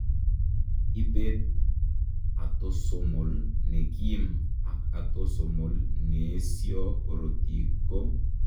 Ibeet atosomal nekiim ak atosomol neesio korotik ko